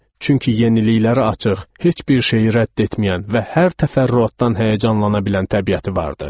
Çünki yeniliklərə açıq, heç bir şeyi rədd etməyən və hər təfərrüatdan həyəcanlana bilən təbiəti vardı.